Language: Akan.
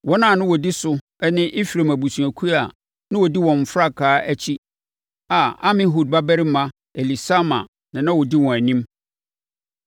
Wɔn a na wɔdi so ne Efraim abusuakuo a na wɔdi wɔn frankaa akyi a Amihud babarima Elisama na ɔdi wɔn anim;